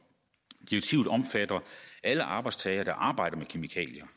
direktivet omfatter alle arbejdstagere der arbejder med kemikalier